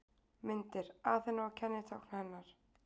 Myndir: Aþena og kennitákn hennar.